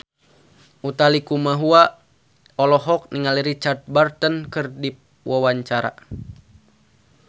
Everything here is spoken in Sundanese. Utha Likumahua olohok ningali Richard Burton keur diwawancara